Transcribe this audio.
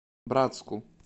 братску